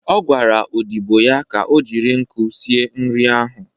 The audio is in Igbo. Ọ gwara odịbo ya ka o jiri nkụ sie nri ahụ.